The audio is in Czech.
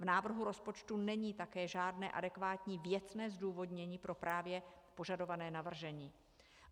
V návrhu rozpočtu není také žádné adekvátní věcné zdůvodnění pro právě požadované navržení.